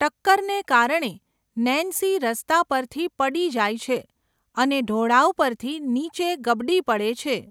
ટક્કરને કારણે, નેન્સી રસ્તા પરથી પડી જાય છે અને ઢોળાવ પરથી નીચે ગબડી પડે છે.